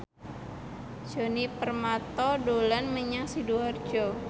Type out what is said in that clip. Djoni Permato dolan menyang Sidoarjo